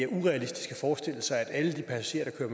urealistisk at forestille sig at alle de passagerer der kører